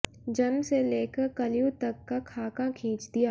जन्म से लेकर कलयुग तक का खाका खींच दिया